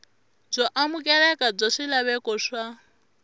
byo amukeleka bya swilaveko swa